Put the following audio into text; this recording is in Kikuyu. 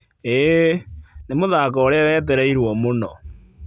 ĩĩ, nĩ mũthako ũrĩa wetereirwo mũno.